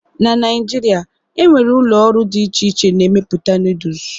na Naijiria, e nwere ụlọ ọrụ dị iche iche na-emepụta Noodles